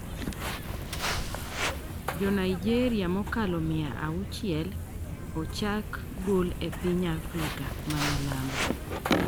Jo Naijeria mokalo mia auchel ochak gol e piny Afrika ma milambo